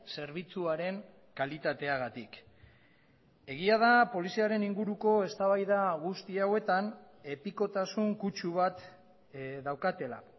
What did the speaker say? zerbitzuaren kalitateagatik egia da poliziaren inguruko eztabaida guzti hauetan epikotasun kutsu bat daukatela